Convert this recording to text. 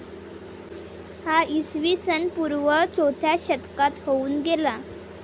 हा इसवी सनपूर्व चौथ्या शतकात होऊन गेला.